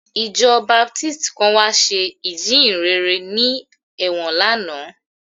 Ìjọ Baptist kan wá ṣe ìjíhìnrere ní ẹ̀wọ̀n lánàá